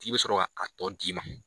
K'i bɛ sɔrɔ a tɔn d'i ma.